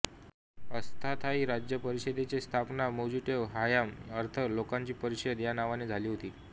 अस्थायी राज्य परिषदेचे स्थापना मोत्ज़ेट हआम अर्थ लोकांची परिषद या नावाने झाली होती